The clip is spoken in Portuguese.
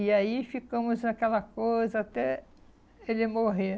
E aí ficamos naquela coisa até ele morrer.